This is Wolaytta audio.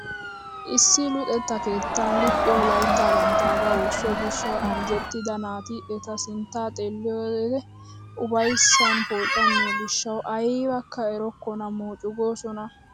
Issi luxetta keettan luxxiyo layttaa banttagaa wursso gishshawu anjjettida naati eta sinttaa xeelliyo wode upayssan poocammiyo giishshawu aybakka erokkona moocu goosona!